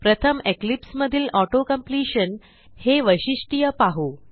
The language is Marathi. प्रथम इक्लिप्स मधील ऑटो कंप्लिशन हे वैशिष्ट्ये पाहू